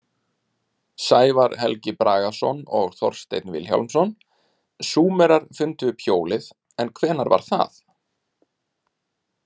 Sævar Helgi Bragason og Þorsteinn Vilhjálmsson: Súmerar fundu upp hjólið en hvenær var það?